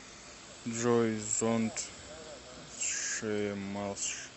джой томас шумахер